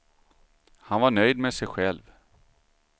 Han var nöjd med sig själv.